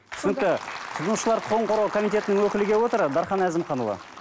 түсінікті тұтынушылар құқығын қорғау комитетінің өкілі келіп отыр дархан әзімханұлы